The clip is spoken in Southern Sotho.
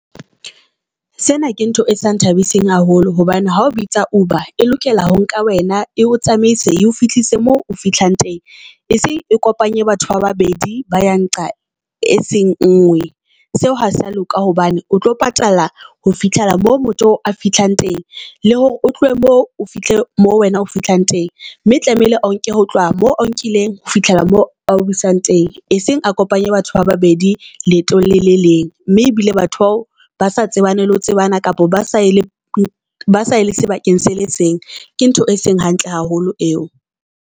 Sena ke ntho e sa nthabiseng haholo hobane ha o bitsa Uber e lokela ho nka wena e o tsamaise eo fihlise mo o fihlang teng. E seng e kopanye batho ba babedi ba ya nqa e seng nngwe. Seo ha sa loka hobane o tlo patala ho fihlela moo motho a fihlang teng le hore o tlohe mo o fihle mo wena o fihlang teng mme tlamehile o nke ho tloha moo o nkileng ho fihlela moo o busang teng. E seng a kopanye batho ba babedi leetong le leng, mme ebile batho bao ba sa tsebaneng le ho tseba a. Kapa ba saye le ba saye sebakeng se le seng, ke ntho e seng hantle haholo eo.